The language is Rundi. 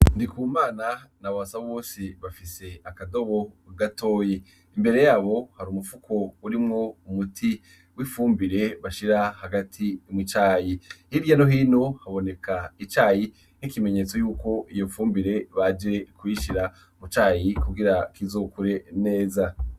Ndikumana na babasa bose bafise akadobo gatoyi imbere yabo hari umupfuko urimwo umuti w'ipfumbire bashira hagati mu cayi hirya nohino haboneka icayi nk'ikimenyetso yuko iyo pfumbire baje kuyishira mucayi kugira kizokure neza.